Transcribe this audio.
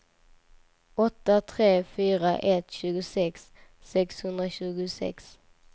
åtta tre fyra ett tjugosex sexhundratjugosex